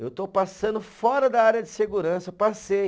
Eu estou passando fora da área de segurança, passei.